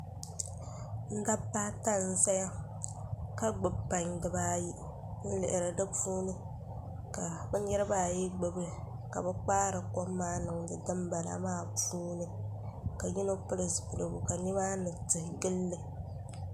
Dabba ata n ʒɛya ka gbubi pai dibaayi n lihiri di puuni ka bi niraba ayi gbubili ka bi kpaari kom niŋdi dinbala maa puuni ka yino pili zipiligu ka nimaani tihi gilili